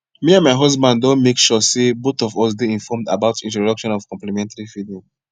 me and my husband don make suresey both of us dey informed about introduction of complementary feeding